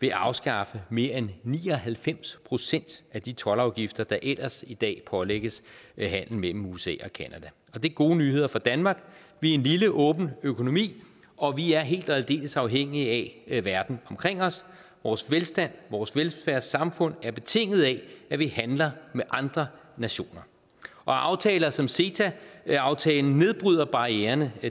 vil afskaffe mere end ni og halvfems procent af de toldafgifter der ellers i dag pålægges handel mellem usa og canada det er gode nyheder for danmark vi er en lille åben økonomi og vi er helt og aldeles afhængige af verden omkring os vores velstand vores velfærdssamfund er betinget af at vi handler med andre nationer og aftaler som ceta aftalen nedbryder barriererne